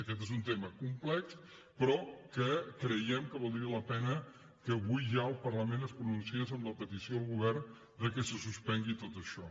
aquest és un tema complex però en què creiem que valdria la pena que avui ja el parlament es pronunciés amb la petició al govern que se suspengui tot això